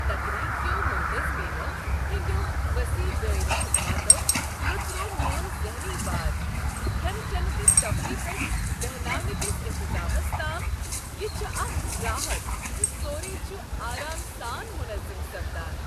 تقریب كیو مٗنتظمینو ہندیو وصیح دٲیرٕ خدماتو لوژروو مِیون ذہنی بار کھٮ۪نہٕ چٮ۪نہٕ تہٕ تفریٖح پٮ۪ٹھٕ بہناونٕکس انتظامس تام، یہ چھ اکھ راحت ز سورُے چھ آرام سان مٗنظم سپدان